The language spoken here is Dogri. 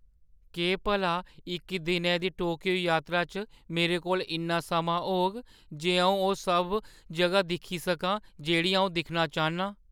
केह् भला इक दिनै दी टोकियो यात्रा च मेरे कोल इन्ना समां होग जे अʼऊं ओह् सब जʼगां दिक्खी सकां जेह्ड़ियां अʼऊं दिक्खना चाह्न्नां ?